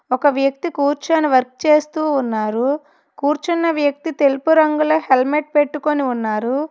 ఒక వ్యక్తి కూర్చొని వర్క్ చేస్తూ ఉన్నారు కూర్చున్న వ్యక్తి తెలుపు రంగులే హెల్మెట్ పెట్టుకొని ఉన్నారు.